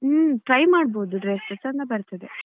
ಹ್ಮ್ try ಮಾಡ್ಬಹುದು dress ಚೆಂದ ಬರ್ತದೆ.